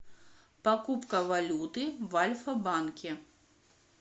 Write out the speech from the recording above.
покупка валюты в альфа банке